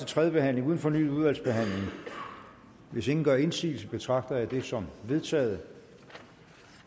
tredje behandling uden fornyet udvalgsbehandling hvis ingen gør indsigelse betragter jeg det som vedtaget